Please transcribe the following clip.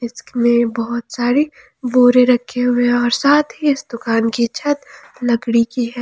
इसकमे बहोत सारे बोरे रखे हुए है और साथ ही इस दुकान की छत लकड़ी की है।